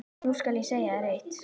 Nú skal ég segja þér eitt.